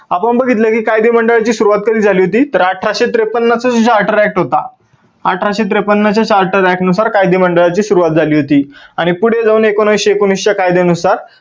आपण बघितल की कायदे मंडळाची सुरुवात कधी झाली होती, तर अठराशे त्रेपन्न पासून charter act होता, अठराशे त्रेपन्न च्या charter act नुसार कायदे मंडळाची सुरुवात झाली होती आणि पुढे जाऊन एकोणविसशे एकोणवीस च्या कायद्यानुसार